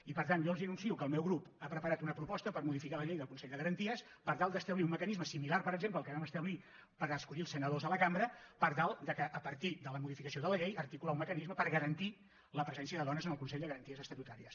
i per tant jo els anuncio que el meu grup ha preparat una proposta per modificar la llei del consell de garanties per tal d’establir un mecanisme similar per exemple al que vam establir per escollir els senadors de la cambra per tal de a partir de la modificació de la llei articular un mecanisme per garantir la presència de dones en el consell de garanties estatutàries